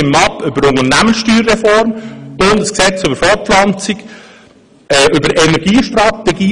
Wir stimmen ab über die Unternehmenssteuerreform, das Bundesgesetz über die Fortpflanzung oder über die Energiestrategie.